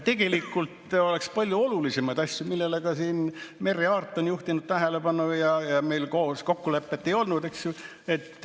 On palju olulisemaid asju, millele ka Merry Aart on juhtinud tähelepanu, ja meil kokkulepet ei olnud, eks ju.